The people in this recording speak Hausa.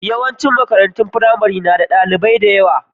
Yawancin makarantun firamare na da ɗalibai da yawa.